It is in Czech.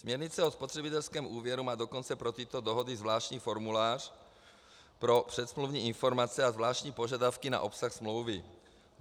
Směrnice o spotřebitelském úvěru má dokonce pro tyto dohody zvláštní formulář pro předsmluvní informace a zvláštní požadavky na obsah smlouvy.